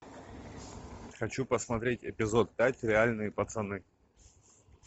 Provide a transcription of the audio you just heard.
хочу посмотреть эпизод пять реальные пацаны